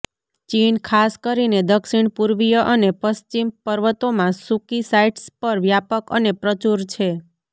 ચીન ખાસ કરીને દક્ષિણપૂર્વીય અને પશ્ચિમ પર્વતોમાં સૂકી સાઇટ્સ પર વ્યાપક અને પ્રચુર છે